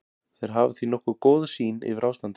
Þeir hafa því nokkuð góða sýn yfir ástandið.